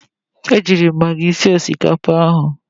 Ejiiri m magi sie osikapa ahụ.